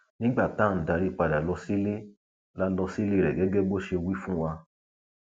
nígbà tá à ń darí padà lọ sílé la lọ sílé rẹ gẹgẹ bó ṣe wí fún wa